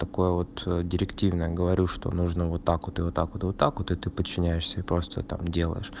такое вот директивное говорю что нужно вот так вот и вот так вот и вот так вот и ты подчиняешься и просто там делаешь